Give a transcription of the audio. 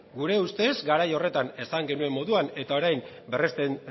gure ustez garai horretan esan genuen moduan eta orain berresten